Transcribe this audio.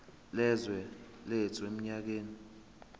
yezwe lethu eminyakeni